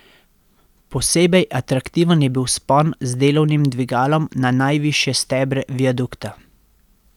Posebej atraktiven je bil vzpon z delovnim dvigalom na najvišje stebre viadukta.